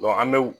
an bɛ